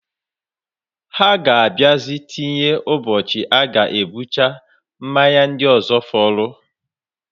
Ha ga abiazi tinye ụbochi aga ebucha mmanya ndi ozo foro.